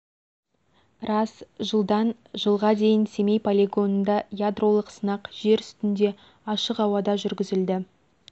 рас жылдан жылға дейін семей полигонында ядролық сынақ жер үстінде ашық ауада жүргізілді